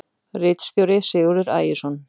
Ritstjóri Sigurður Ægisson.